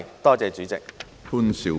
多謝主席。